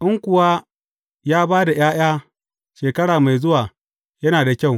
In kuwa ya ba da ’ya’ya shekara mai zuwa, yana da kyau!